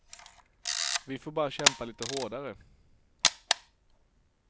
Vi får bara kämpa lite hårdare.